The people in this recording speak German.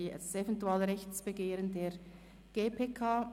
das Eventualrechtsbegehren der GPK.